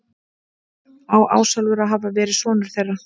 Á Ásólfur að hafa verið sonur þeirra.